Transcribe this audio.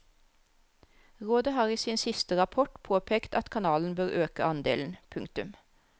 Rådet har i sin siste rapport påpekt at kanalen bør øke andelen. punktum